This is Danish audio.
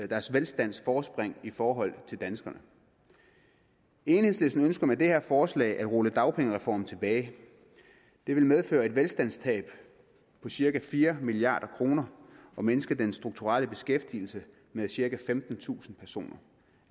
deres velstandsforspring i forhold til danskerne enhedslisten ønsker med det her forslag at rulle dagpengereformen tilbage det vil medføre et velstandstab på cirka fire milliard kroner og mindske den strukturelle beskæftigelse med cirka femtentusind personer